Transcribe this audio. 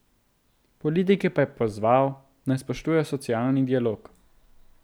Politike pa je pozval, naj spoštujejo socialni dialog.